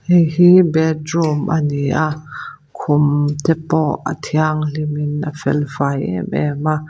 hei hi bedroom ani a khum te pawh a thianghlim in a fel fai em em a.